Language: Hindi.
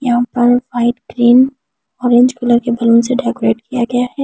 यहाँ पर वाइट ग्रीन ऑरेंज कलर के बैलून से डेकोरेट किया गया है ।